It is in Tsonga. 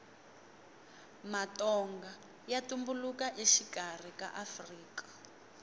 matonga ya tumbuluka exikarhi ka afrika